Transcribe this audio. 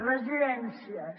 residències